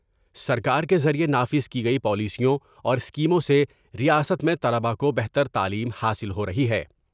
سرکار کے ذریعہ نافذ کی گئی پالیسیوں اور اسکیموں سے ریاست میں طلباء کو بہتر تعلیم حاصل ہو رہی ہیں